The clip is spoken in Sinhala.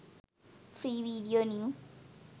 free video new